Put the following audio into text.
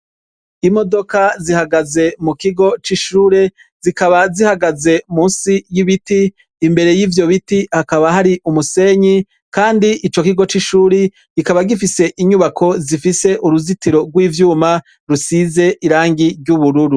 Imodoka zihagaze mu kigo c'ishure zikaba zihagaze musi y'ibiti imbere y'ivyo biti hakaba hari umusenyi, kandi ico kigo c'ishuri gikaba gifise inyubako zifise uruzitiro rw'ivyuma rusize irangi ry'ubururu.